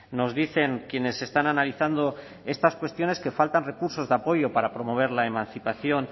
nos dicen quienes están analizando estas cuestiones que faltan recursos de apoyo para promover la emancipación